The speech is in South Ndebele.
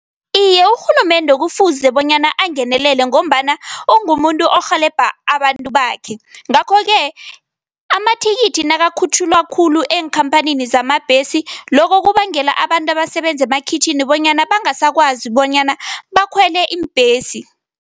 Iye, urhulumende kufuze bonyana angenelele ngombana ungumuntu orhelebha abantu bakhe, ngakho-ke amathikithi nakukhutjhulwa khulu eenkhamphanini zamabhesi, lokhu kubangela abantu abasebenza emakhitjhini bonyana bangasakwazi bonyana bakhwele iimbhesi.